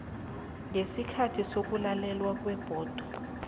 ngesikhathi sokulalelwa kwebhodo